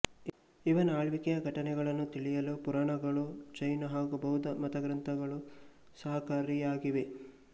ಇವನ ಆಳ್ವಿಕೆಯ ಘಟನೆಗಳನ್ನು ತಿಳಿಯಲು ಪುರಾಣಗಳೂ ಜೈನ ಹಾಗೂ ಬೌದ್ಧ ಮತಗ್ರಂಥಗಳೂ ಸಹಕಾರಿಯಾಗಿವೆ